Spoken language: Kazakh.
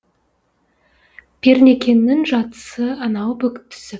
пернекеңнің жатысы анау бүк түсіп